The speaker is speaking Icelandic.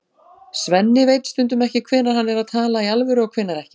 Svenni veit stundum ekki hvenær hann er að tala í alvöru og hvenær ekki.